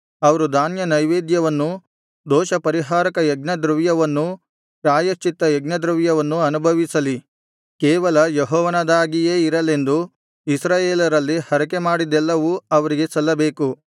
ಅವರು ಧಾನ್ಯನೈವೇದ್ಯವನ್ನೂ ದೋಷಪರಿಹಾರಕ ಯಜ್ಞದ್ರವ್ಯವನ್ನೂ ಪ್ರಾಯಶ್ಚಿತ್ತ ಯಜ್ಞದ್ರವ್ಯವನ್ನೂ ಅನುಭವಿಸಲಿ ಕೇವಲ ಯೆಹೋವನದಾಗಿಯೇ ಇರಲೆಂದು ಇಸ್ರಾಯೇಲರಲ್ಲಿ ಹರಕೆ ಮಾಡಿದ್ದೆಲ್ಲವೂ ಅವರಿಗೆ ಸಲ್ಲಬೇಕು